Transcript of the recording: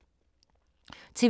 TV 2